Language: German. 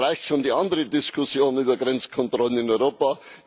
Es reicht schon die andere Diskussion über Grenzkontrollen in Europa.